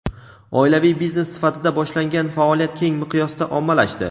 Oilaviy biznes sifatida boshlangan faoliyat keng miqyosda ommalashdi.